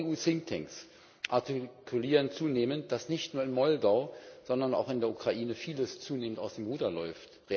Auch EU Thinktanks artikulieren zunehmend, dass nicht nur in Moldau, sondern auch in der Ukraine vieles zunehmend aus dem Ruder läuft.